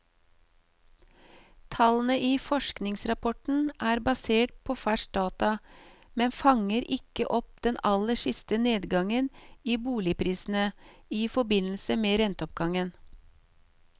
Tallene i forskningsrapporten er basert på ferske data, men fanger ikke opp den aller siste nedgangen i boligprisene i forbindelse med renteoppgangen.